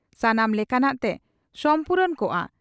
ᱥᱟᱱᱟᱢ ᱞᱮᱠᱟᱱᱟᱜ ᱛᱮ ᱥᱚᱢᱯᱩᱨᱩᱱ ᱠᱚᱜᱼᱟ ᱾